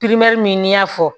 min y'a fɔ